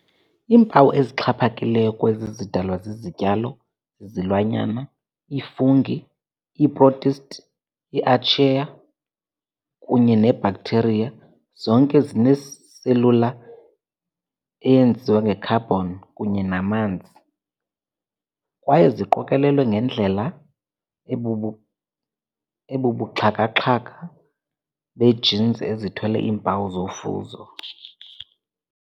Iimpawu ezixhaphakileyo kwezi zidalwa zizityalo, izilwanyana, i-fungi, ii-protists, i-archaea, kunye ne-bacteria, zonke ke zinee-cellular eyenziwe nge-carbon kunye namanzi kwaye ziqokolelwe ngendlela ebubuxhakaxhaka bee-genes ezithwele iimpawu zofuzo.